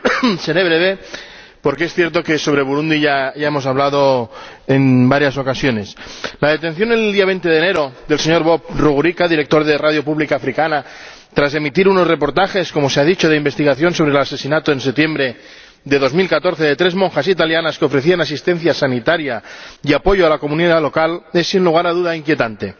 Señor Presidente, seré breve porque es cierto que sobre Burundi ya hemos hablado en varias ocasiones. La detención el día 20 de enero del señor Bob Rugurika, director de Radio Publique Africaine, tras emitir unos reportajes —como se ha dicho— de investigación sobre el asesinato en septiembre de 2014 de tres monjas italianas que ofrecían asistencia sanitaria y apoyo a la comunidad local, es, sin lugar a duda, inquietante.